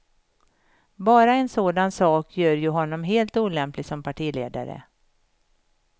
Bara en sådan sak gör ju honom helt olämplig som partiledare.